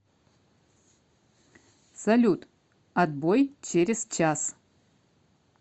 салют отбой через час